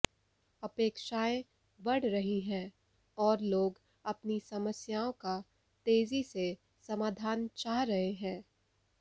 अपेक्षाएं बढ़ रहीं हैं और लोग अपनी समस्याओं का तेजी से समाधान चाह रहे हैं